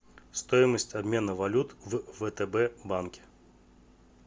стоимость обмена валют в втб банке